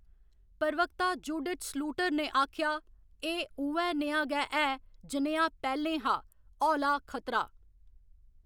प्रवक्ता Judith Sluiter ने आखेआ, एह्‌‌ उ'ऐ नेहा गै ऐ जनेहा पैह्‌लें हा, हौला खतरा।